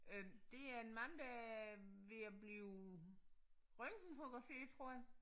Øh det er en mand der er ved at blive røntgenfotograferet tror jeg